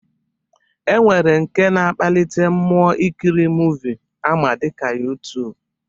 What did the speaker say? E nwere nke na-akpalite mmụọ ikiri muuvi ama dịka YuTuub